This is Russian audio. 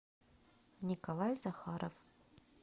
николай захаров